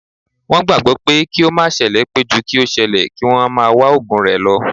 Wọn gbagbọ pé kí ó má sele pé ju kí o ṣẹlẹ̀, kí wọ́n máa wá ògùn rẹ lo